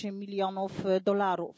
8 milionów dolarów.